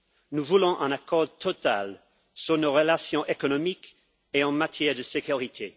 Nous voulons un accord total sur nos relations économiques et en matière de sécurité.